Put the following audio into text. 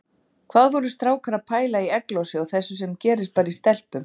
Hvað voru strákar að pæla í egglosi og þessu sem gerist bara í stelpum!